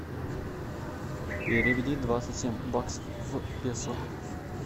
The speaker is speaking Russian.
переведи двадцать семь баксов в песо